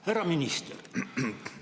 Härra minister!